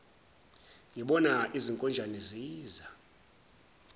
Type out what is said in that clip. ngibona izinkonjane ziza